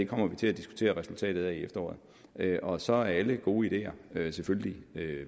kommer vi til at diskutere resultatet af i efteråret og så er alle gode ideer selvfølgelig